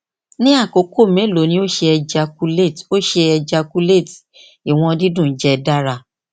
ni akoko melo ni o ṣe ejaculate o ṣe ejaculate iwọn didun jẹ dara